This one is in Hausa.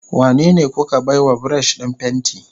Wanene kuka baiwa brush din fenti?